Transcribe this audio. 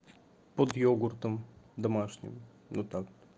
под йогуртом домашним ну так